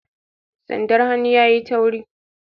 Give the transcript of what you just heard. sandar hannun yayi tauri